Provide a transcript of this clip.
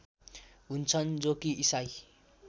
हुन्छन् जो कि ईसाई